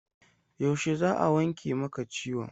Yaushe za a wanke maka ciwon?